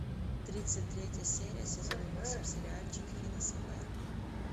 тридцать третья серия сезон восемь сериальчик финес и ферб